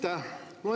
Aitäh!